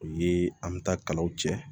O ye an bɛ taa kalaw cɛ